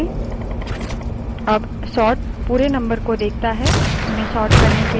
अब sort पूरे number को देखता है उन्हें sort करने के लिए